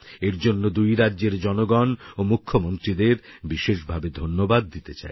এর জন্য দুই রাজ্যের জনগন ও মুখ্যমন্ত্রীদের বিশেষভাবে ধন্যবাদ দিতে চাই